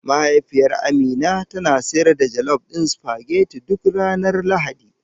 Mahaifiyar Amina tana sayar da jelof ɗin supageti duk ranar Lahadi.